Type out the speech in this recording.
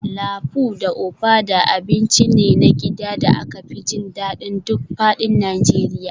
Lafu da ofada abinci ne na gida da aka fi jin daɗin duk faɗin Najeriya